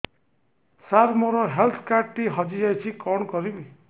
ସାର ମୋର health card ଟି ହଜି ଯାଇଛି କଣ କରିବି